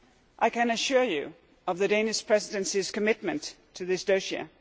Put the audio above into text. I can assure you of the Danish Presidency's commitment to this dossier.